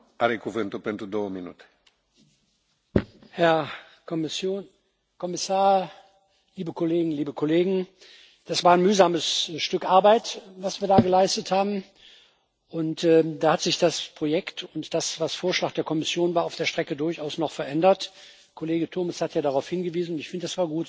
Herr Präsident, Herr Kommissar, liebe Kolleginnen, liebe Kollegen! Das war ein mühsames Stück Arbeit, was wir da geleistet haben, und da hat sich das Projekt und das, was Vorschlag der Kommission war, auf der Strecke durchaus noch verändert Kollege Turmes hat ja darauf hingewiesen und ich finde, das war gut so,